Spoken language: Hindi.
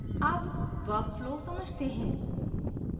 अब workflow समझते हैं